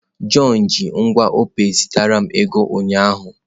John ji ngwa Opay zitere m ego ụnyaahụ.